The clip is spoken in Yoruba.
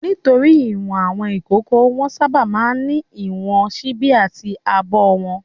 Nítorí ìwọ̀n àwọn ìkókó, wọ́n sábà máa ń ní ìwọ̀n ṣíbí àti abọ́ wọn.